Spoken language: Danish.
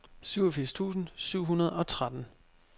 syvogfirs tusind syv hundrede og tretten